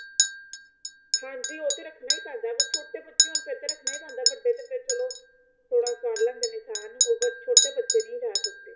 ਹਾਂਜੀ ਉਹ ਤੇ ਰੱਖਣਾ ਹੀ ਪੈਂਦਾ ਪਰ ਛੋਟੇ ਬੱਚੇ ਹੋਣ ਫੇਰ ਤੇ ਰੱਖਣਾ ਹੀ ਪੈਂਦਾ ਵੱਡੇ ਤੇ ਫੇਰ ਚਲੋ ਥੋੜਾ ਉਹ ਕਰ ਲੈਂਦੇ ਨੇ ਸਹਿਣ ਉਹ ਪਰ ਛੋਟੇ ਬੱਚੇ ਨੀ ਰਿਹ ਸਕਦੇ